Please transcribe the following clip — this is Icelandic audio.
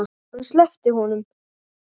Hann sleppti honum!